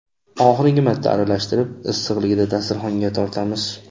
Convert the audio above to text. Oxirgi marta aralashtirib, issiqligida dasturxonga tortamiz.